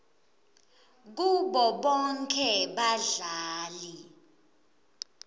kubo bonkhe badlali